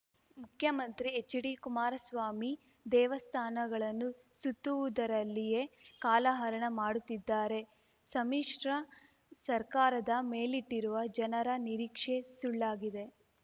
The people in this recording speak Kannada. ಮುಖ್ಯಮಂತ್ರಿ ಎಚ್‌ಡಿ ಕುಮಾರಸ್ವಾಮಿ ದೇವಸ್ಥಾನಗಳನ್ನು ಸುತ್ತುವುದರಲ್ಲಿಯೇ ಕಾಲಹರಣ ಮಾಡುತ್ತಿದ್ದಾರೆ ಸಮ್ಮಿಶ್ರ ಸರ್ಕಾರದ ಮೇಲಿಟ್ಟಿರುವ ಜನರ ನಿರೀಕ್ಷೆ ಸುಳ್ಳಾಗಿದೆ